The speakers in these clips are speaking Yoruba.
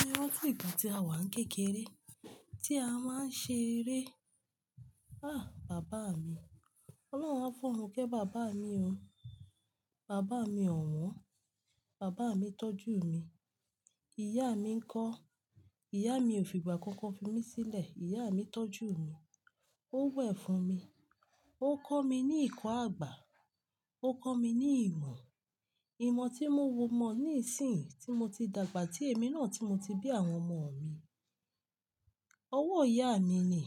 Mo rántí ìgbà tí a wà ń kékeré, tí a máa ń ṣe eré. Ah! Bàbá mi, Ọlọ́run á forun ké. Bàbá mi o, bàbá mi ọ̀wọ́n, bàbá mi tọ́jú mi. Ìyá mi ń kọ́, ìyá mi ò fìgbà kan kan fi mí sílẹ̀, ìyá mi tọ́jú mi. Ó wẹ̀ fún mi, ó kọ́ mi ní ìkọ́ àgbà, ó kọ́ mi ní ìmọ̀, ìmọ̀ tí mo mọ ní ìsìnyi tí mo ti dàgbà tí èmi náà tí mo ti bí àwọn ọmọ mi. Ọwọ́ ìyá mi ni,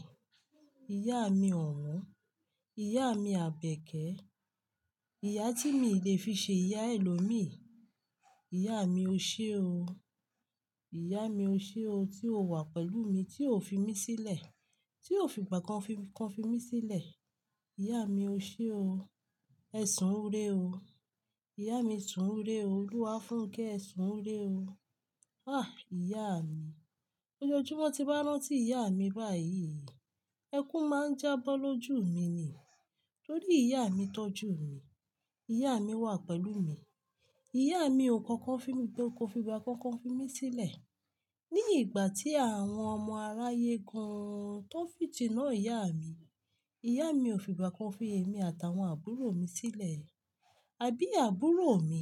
ìyá mi ọ̀wọ́n, ìyá mi àbẹ̀kẹ́, ìyá tí mii lè fi ṣe ìyá ẹlòmíì. Ìyá mi ó ṣe o, ìyá mi ó ṣe o tí o wà pẹ̀lú mi, tí o fi mí sílẹ̀, tí o fi ìgbà kan kan fi mí sílẹ̀. Ìyá mi ó ṣe o, ẹ sun re o. Ìyá mi sun re o, Olúwafunké, ẹ sun re o. Ah! Ìyá mi, ojoojúmọ́ tí n rántí ìyá mi báyìí, ẹkún máa ń jábọ́ lójú mi ni. Nítorí ìyá mi tọ́jú mi, ìyá mi wà pẹ̀lú mi. Ìyá mi ò kankan fi mi kó kọ́ fi ìgbà kan kan fi mí sílẹ̀. Ni ìgbà tí àwọn ọmọ aráyé gan-an tó n fitiná ìyá mi, ìyá mi ò fìgbà kan fi èmi àtàwọn àbúrò mi sílẹ̀. Àbí àbúrò mi,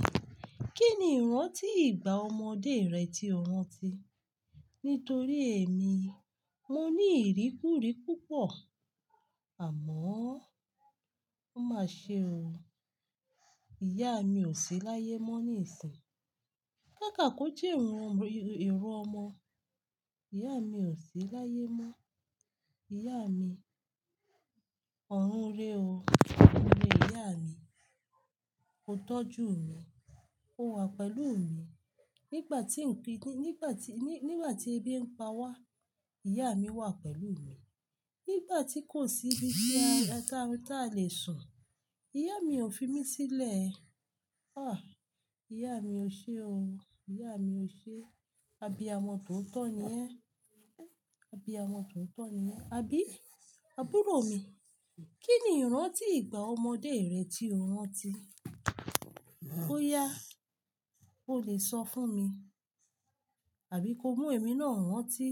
kí ni ìranti ìgbà ọmọdé rẹ tí ò ran ti? Nítorí èmi, mo ní ìrí kúrí púpọ̀. Àmọ́, ó máa ṣe o, ìyá mi ò sí láyé mọ́ ní ìsìn. Ká ká kò je ìro ọmọ, ìyá mi ò sí láyé mọ́. Ìyá mi, ọ̀run rẹ o, ọ̀run rẹ ìyá mi. O tọ́jú mi, o wà pẹ̀lú mi. Nígbà tí ń pi-- nígbà tí, nígbà tí ebi ń pa wá, ìyá mi wà pẹ̀lú mi. Nígbà tí kò sí ibi tí a lè, tí a lè sùn, ìyá mi ò fi mí sílẹ̀. Ah! Ìyá mi ó ṣe o, ìyá mi ó ṣe. Àbíamo tootó tni ẹ́? Àbíàmọ tootó ni ẹ́? Àbí àbúrò mi, kí ni ìrantí ìgbà ọmọdé rẹ tí ò ran ti? Ó yá, o lè sọ fún mi. Àbí ko mú èmi náà wọ́n ti?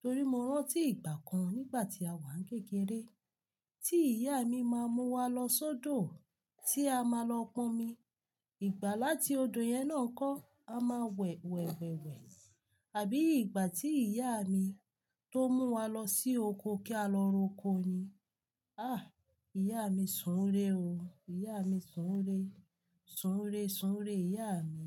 Torí mo rántí ìgbà kan nígbà tí a wà ń kékeré, tí ìyá mi máa mú wa lọ sódò, tí a máa lọ ponmi. Ìgbà láti odò yẹn náà n kọ́, a máa wẹ̀ wẹ̀ wẹ̀ wẹ̀. Àbí ìgbà tí ìyá mi tó mú wa lọ sí oko kí á lọ roko ni. Ah! Ìyá mi sun re o, ìyá mi sun re. San rúre, san rúre ìyá mi.